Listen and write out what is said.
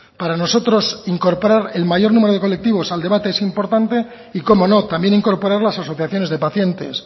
para nosotros incorporar el mayor numero de colectivos al debate es importante y cómo no también incorporar las asociaciones de pacientes